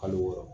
Kalo wɔɔrɔ